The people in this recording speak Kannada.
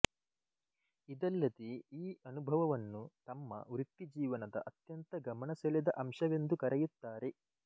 ಇದಲ್ಲದೆ ಈ ಅನುಭವವನ್ನು ತಮ್ಮ ವೃತ್ತಿ ಜೀವನದ ಅತ್ಯಂತ ಗಮನಸೆಳೆದ ಅಂಶವೆಂದು ಕರೆಯುತ್ತಾರೆ